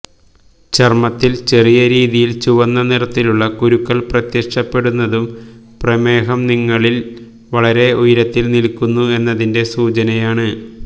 ചര്മ്മത്തില് ചെറിയ രീതിയില് ചുവന്ന നിറത്തിലുള്ള കുരുക്കള് പ്രത്യക്ഷപ്പെടുന്നതും പ്രമേഹം നിങ്ങളില് വളരെ ഉയരത്തില് നില്ക്കുന്നു എന്നതിന്റെ സൂചനയാണ്